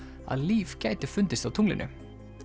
að líf gæti fundist á tunglinu